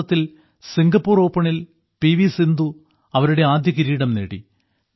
ഈ മാസത്തിൽ സിങ്കപ്പൂർ ഓപ്പണിൽ പി വി സിന്ധു അവരുടെ ആദ്യ കിരീടം നേടി